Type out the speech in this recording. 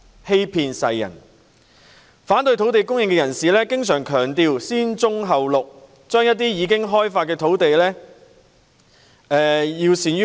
這些反對者經常強調"先棕後綠"，要善用一些已開發的土地。